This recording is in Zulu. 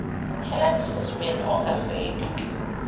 helen suzman ongasekho